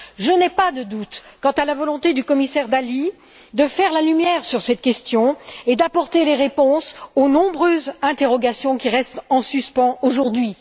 Je n'ai pas de doute quant à la volonté du commissaire Dalli de faire la lumière sur cette question et d'apporter les réponses aux nombreuses interrogations qui restent en suspens aujourd'hui.